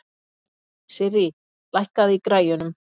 Sirrí, lækkaðu í græjunum.